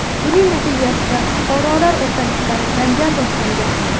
Buning natijasida fuqarolar o‘rtasida janjal boshlangan.